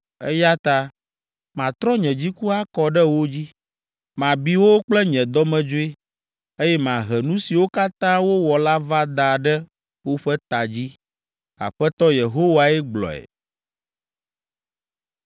Eya ta matrɔ nye dziku akɔ ɖe wo dzi, mabi wo kple nye dɔmedzoe, eye mahe nu siwo katã wowɔ la va da ɖe woƒe ta dzi. Aƒetɔ Yehowae gblɔe.”